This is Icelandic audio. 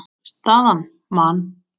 Staðan: Man.